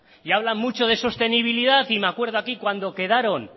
y hablan mucho de sostenibilidad y me acuerdo aquí cuando quedaron